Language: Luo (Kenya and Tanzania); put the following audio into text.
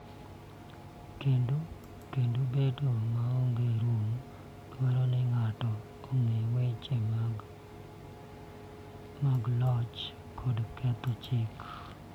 Kendo bedo maonge rom dwaro ni ng�ato ong�e weche mag loch kod ketho chik.